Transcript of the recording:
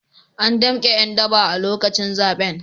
An damke ’yan daba a lokacin zaben.